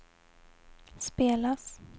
spelas